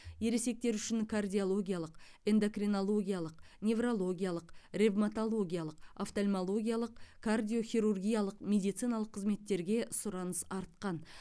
ересектер үшін кардиологиялық эндокринологиялық неврологиялық ревматологиялық офтальмологиялық кардиохирургиялық медициналық қызметтерге сұраныс артқан